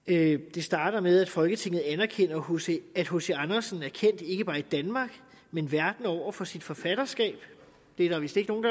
det starter med at folketinget anerkender at hc andersen er kendt ikke bare i danmark men verden over for sit forfatterskab det er der vist ikke nogen